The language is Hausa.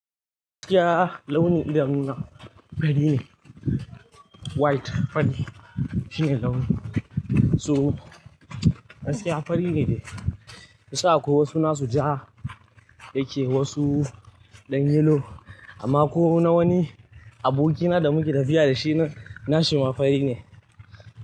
Gaskiya launi idanuna fari ne. White fari shine launi. So gaskiya fari ne dai. Kunsan akwai wasu na su ja yake wasu ɗan yellow amma ko na wani abokina da muke tafiya da shi na shima fari ne.